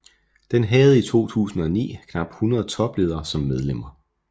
Den havde i 2009 knap 100 topledere som medlemmer